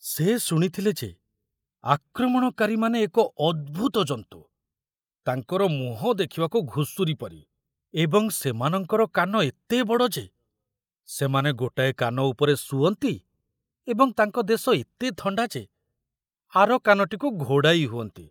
ସେ ଶୁଣିଥିଲେ ଯେ ଆକ୍ରମଣକାରୀମାନେ ଏକ ଅଦ୍ଭୁତ ଜନ୍ତୁ, ତାଙ୍କର ମୁହଁ ଦେଖିବାକୁ ଘୁଷୁରୀ ପରି ଏବଂ ସେମାନଙ୍କର କାନ ଏତେ ବଡ଼ ଯେ ସେମାନେ ଗୋଟାଏ କାନ ଉପରେ ଶୁଅନ୍ତି, ଏବଂ ତାଙ୍କ ଦେଶ ଏତେ ଥଣ୍ଡା ଯେ ଆର କାନଟିକୁ ଘୋଡ଼ାଇ ହୁଅନ୍ତି!